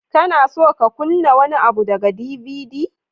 Kana so ka kunna wani abu daga DVD?